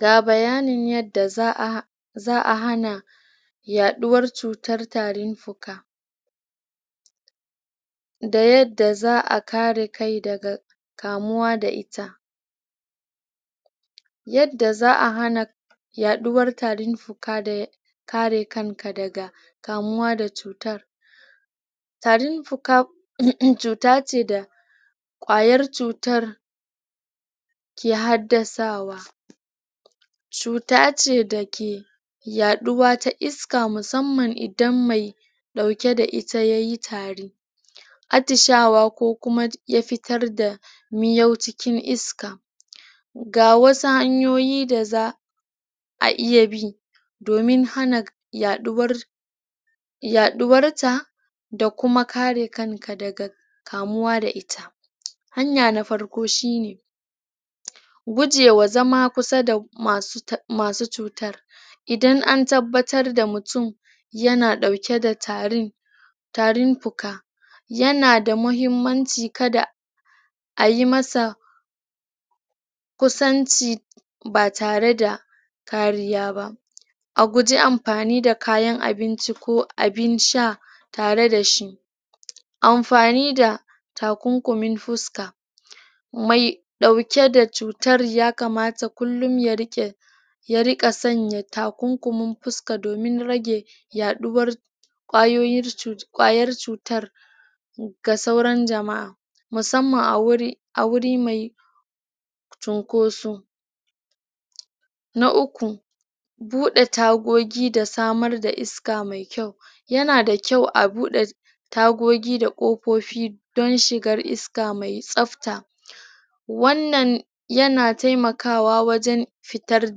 Ga bayanin yadda za'a hana yaɗuwar cutan fuka da yadda za'a kare kai daga kamuwa da ita yadda za'a hana yaɗuwar tarin fuka da kare kanka daga kamuwa da cutar tarin fuka cuta ce da kwayar cutar ke haddasawa cuta ce da ke yaɗuwa ta iska musamman idan mai ɗauke da ita ya yi tari attishawa ko kuma ya fitar da miyau ta iska ga wasu hanyoyi da za'a iya bi domin hana yaɗuwar ta da kuma kare kanka daga kumuwa da ita hanya na farko shi ne gu je wa zama kusa da masu cutar idan an tabbatar da mutum yana da tarin tarin puka, yana da muhimmanci kada a yi masa kusanci ba tare da kariya ba a guje ampani da kayan abinci ko abin sha tare da shi amfani da takunkumin fuska mai ɗauke da cutar ya kamata kullum ya rike ya riƙa sanya takunkumin puska domin rage yaɗuwar ƙwayoyin...ƙwayar cutan ga sauran jama'a musamman a wuri mai cunkosu na uku, buɗe tagogi da samar da iska mai kyau yana da kyau a buɗe tagogi da ƙofofi don shigar iska mai tsafta wannan yana taimakawa wajen fitar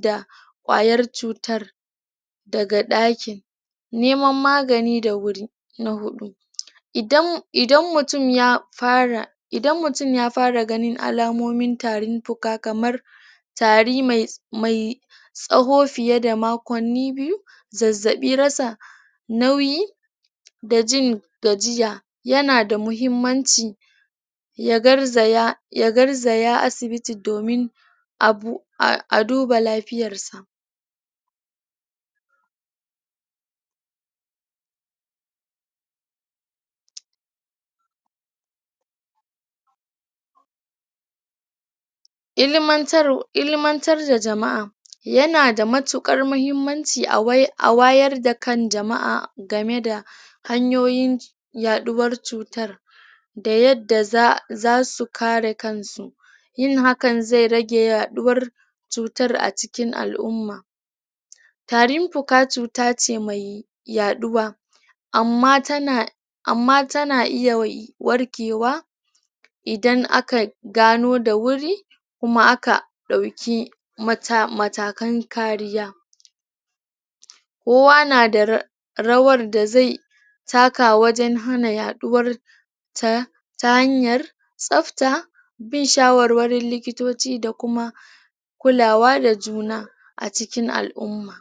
da ƙwayar cutan daga ɗakin neman magani da wuri, na huɗu idan mutum ya fara ganin alamomin tarin puka kamar tari mai tsawo fiye da makonni biyu, zazzaɓi, rasa nauyi da jin gajiya, yana da muhimmanci ya garzaya asibiti domin a duba lafiyarsa ilimantar da jama'a yana da matuƙar mahimmanci a wayar da kan jama'a game da hanyoyin yaɗuwar cutan da yadda zasu kare kan su, yin hakan zai rage yaɗuwar cutan a cikin al'umma tarin puka cuta ce mai yaɗuwa amma tana iya warkewa idan aka gano da wuri kuma aka ɗauki matakan kariya kowa na rawar da zai taka wajen hana yaɗuwar ta hanyar tsafta, bin shawarwarin likitoci da kuma kulawa da juna a cikin al'umma.